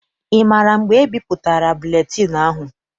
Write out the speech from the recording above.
Ị maara mgbe ebipụtara buletịịnụ ahụ?